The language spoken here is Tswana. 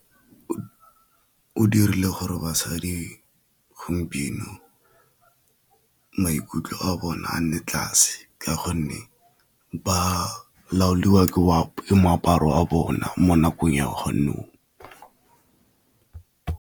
O dirile gore basadi gompieno maikutlo a bone a nne tlase, ka gonne ba laoliwa ke moaparo a bona mo nakong ya .